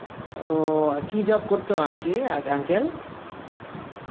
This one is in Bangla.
ও, কী job করতো aunty আগ~ uncle?